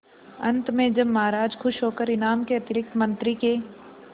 अंत में जब महाराज खुश होकर इनाम के अतिरिक्त मंत्री के